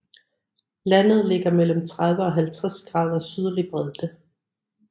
Landet ligger mellem 30 og 50 grader sydlig bredde